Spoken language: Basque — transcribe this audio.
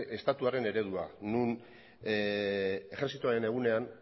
estatuaren eredua non ejertzitoaren egunean